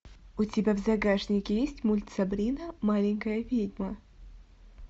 у тебя в загашнике есть мульт сабрина маленькая ведьма